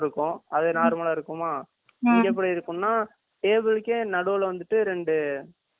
இங்க எப்படி இருக்கும்னா table கே நடுல வந்துட்டு ரெண்டு left side லியும் right side லியும் ரெண்டு இது வச்சி இருப்பாங்க